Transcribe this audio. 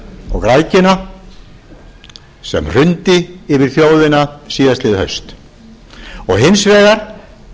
og græðgina sem hrundi yfir þjóðina síðastliðið haust og hins vegar